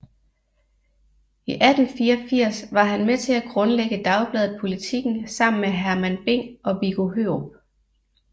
I 1884 var han med til at grundlægge dagbladet Politiken sammen med Hermann Bing og Viggo Hørup